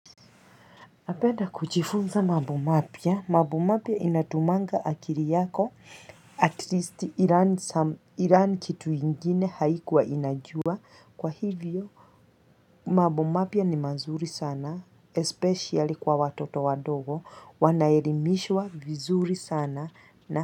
Napenda kujifunza mambo mapya. Mambo mapya inatumanga akili yako atleast ilearn ilearn kitu ingine haikuwa inajua kwa hivyo mambo mapya ni mazuri sana especially kwa watoto wadogo wanaelimishwa vizuri sana na.